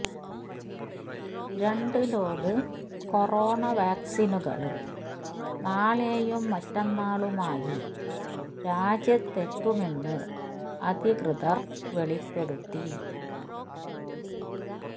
രണ്ടു load corona വാക്സിനുകള് നാളെയും മറ്റന്നാളുമായി രാജ്യത്തെത്തുമെന്ന് അധികൃതര് വെളിപ്പെടുത്തി